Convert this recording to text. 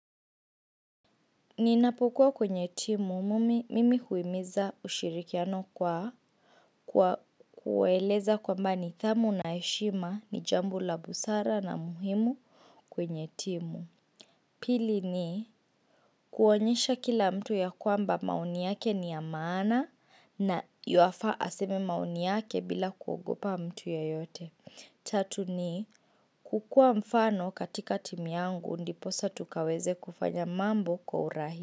Ninapokuwa kwenye timu mumi mimi huimiza ushirikiano kwa kueleza kwamba ni thamu na eshima ni jambo la busara na muhimu kwenye timu. Pili ni kuonyesha kila mtu ya kwamba maoni yake ni ya maana na yuafaa aseme maoni yake bila kuogopa mtu ye yote. Tatu ni kukuwa mfano katika timu yangu ndiposa tukaweze kufanya mambo kwa urahi.